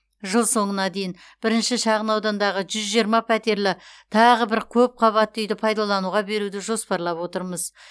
жыл соңына дейін бірінші шағын аудандағы жүз жиырма пәтерлі тағы бір көпқабатты үйді пайдалануға беруді жоспарлап отырмыз